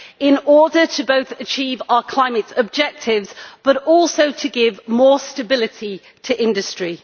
in order both to achieve our climate objectives and to give more stability to industry.